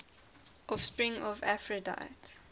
offspring of aphrodite